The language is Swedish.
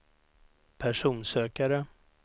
personsökare